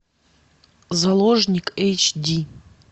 заложник эйч ди